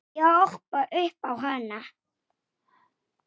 Þú hræðir börnin.